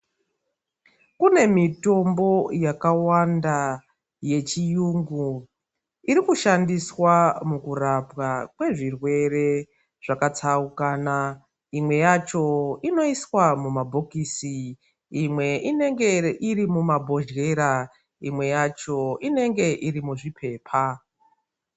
Kune mitombo yakawanda yechiyungu iri kushandiswa mukurapwa kwezvirwere zvakatsaukana imwe yacho inoiswa mumabhokisi imwe inenge iri mumabhodyera imwe yacho inenge iri muzvipepa.